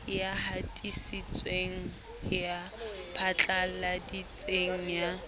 ya hatisitseng ya phatlaladitseng ya